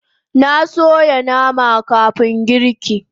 Na soya nama kafun girki